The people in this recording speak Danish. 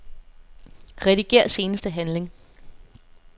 Rediger seneste handling.